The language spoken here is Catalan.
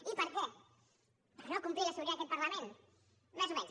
i per què per no complir la sobirania d’aquest parlament més o menys